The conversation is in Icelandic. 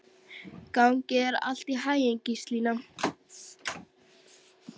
Gangi þér allt í haginn, Gíslína.